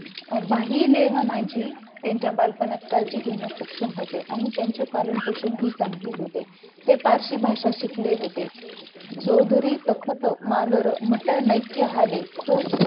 बहिलेहणाजी त्यांच्या बालपणात काळजी घेण्यात सक्षम होते आणि त्यांचे पालन पोषण हे चांगलेच होते ते पाकची भाषा शिकले होते सो धुरी तखत मालर मट नेत्य हाले तो सुख